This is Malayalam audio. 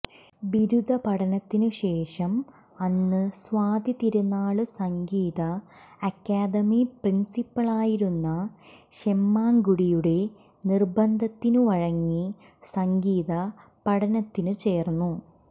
ബിരുദ പഠനത്തിനു ശേഷം അന്ന് സ്വാതിതിരുനാള് സംഗീത അക്കാദമി പ്രിന്സിപ്പലായിരുന്ന ശെമ്മാങ്കുടിയുടെ നിര്ബന്ധത്തിനു വഴങ്ങി സംഗീത പഠനത്തിനു ചേര്ന്നു